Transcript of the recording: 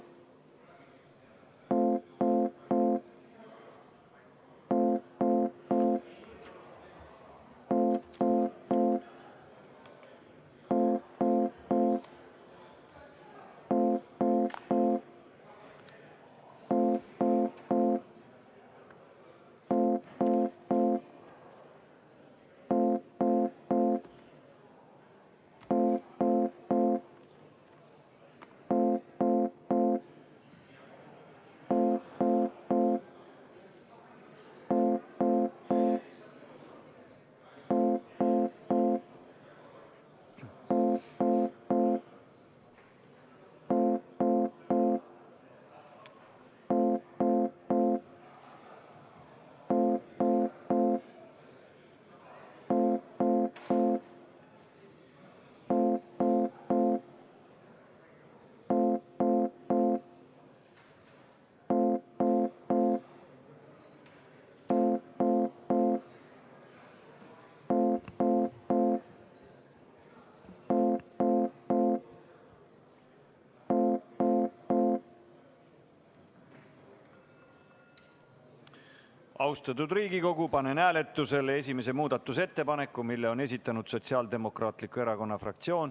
Austatud Riigikogu, panen hääletusele esimese muudatusettepaneku, mille on esitanud Sotsiaaldemokraatliku Erakonna fraktsioon.